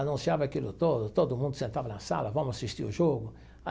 Anunciava aquilo todo, todo mundo sentava na sala, vamos assistir o jogo.